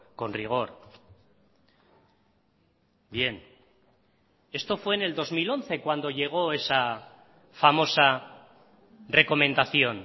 con rigor bien esto fue en el dos mil once cuando llegó esa famosa recomendación